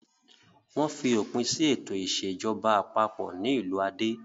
Wọ́n fi òpin sí ètò ìṣèjọba àpapọ̀ ní ìlú Ade.